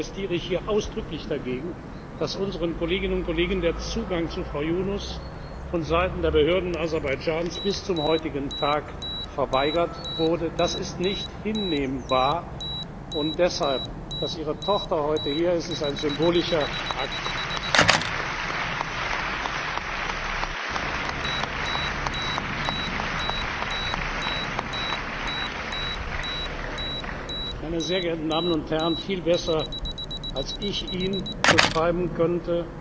Deshalb protestiere ich hier ausdrücklich dagegen, dass unseren Kolleginnen und Kollegen der Zugang zu Frau Yunus von Seiten der Behörden Aserbaidschans bis zum heutigen Tag verweigert wurde. Das ist nicht hinnehmbar. Deshalb ist die Tatsache, dass ihre Tochter heute hier ist, ein symbolischer Akt. Meine Damen und Herren! Viel besser, als ich ihn beschreiben könnte,